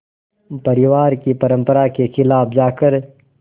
परिवार की परंपरा के ख़िलाफ़ जाकर